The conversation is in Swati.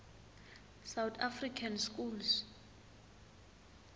south african schools